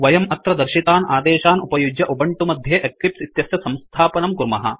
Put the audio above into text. वयम् अत्र दर्शितान् आदेशान् उपयुज्य उबंटु मध्ये एक्लिप्स इत्यस्य संस्थापनं कुर्मः